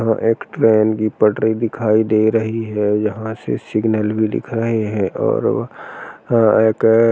हा एक ट्रेन की पटरी दिखाई दे रही है यहाँ से सिगनल भी दिख रहे हैं और वहाँ एक --